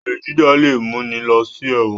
Olè jíjà lẹ mú ní ló sí èwòn